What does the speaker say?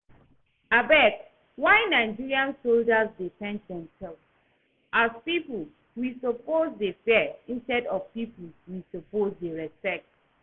Abeg why Nigerian soldiers dey paint themselves as people we suppose dey fear instead of people we suppose dey respect